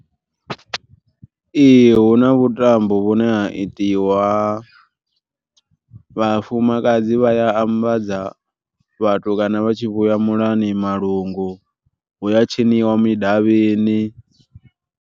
Ee hu na vhutambo vhune ha itiwa, vhafumakadzi vha a ambadza vhatukana vha tshi vhuya muḽani malungu hu ya tshiniwa midavhini.